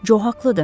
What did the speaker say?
Co haqlıdır.